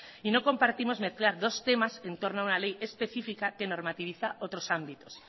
y no compartimos mezclar dos temas en torno a una ley especifica que normativiza otros ámbitos